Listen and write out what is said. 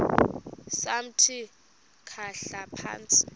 samthi khahla phantsi